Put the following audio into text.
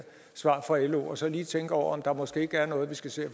svar fra lo og så lige tænke over om der måske ikke er noget vi skal se